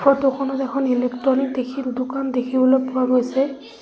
Photo খনত এখন electronic দেখি দোকান দেখিবলৈ পোৱা গৈছে।